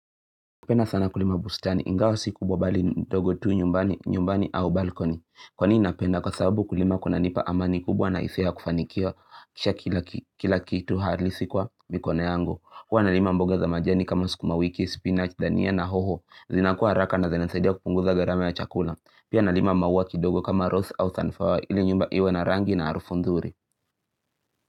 Napenda sana kulima bustani, ingawa si kubwa bali dogo tuu nyumbani, nyumbani au balkoni. Kwa nini napenda kwa sababu kulima kuna nipa amani kubwa na hisia ya kufanikia kisha kila kitu halisi kwa mikono yangu. Huwa nalima mboga za majani kama sukuma wiki, spinach, dania na hoho, zinakua haraka na zinasaidia kupunguza gharama ya chakula. Pia nalima maua kidogo kama rose au sunflower ili nyumba iwe na rangi na harufu nzuri.